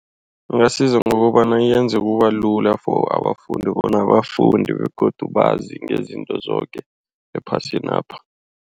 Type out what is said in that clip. Ingasiza ngokobana yenze kubalula for abafundi bona bafunde begodu bazi ngezinto zoke ephasinapha.